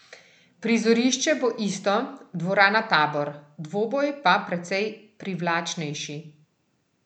Prizorišče bo isto, dvorana Tabor, dvoboj pa precej privlačnejši.